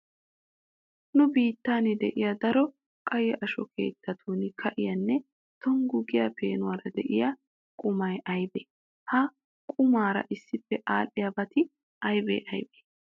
Nu biittan de'iya daro qayye asho keettatun ka'iyanne tonggu giya peenuwara de'iya qumay aybee? Ha qumaara issippe aadhdhiyabati aybee aybee?